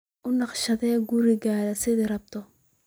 U naqshadee gurigaaga sidaad rabto.